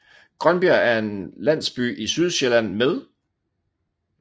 Grønbjerg er en landsby i Sydjylland med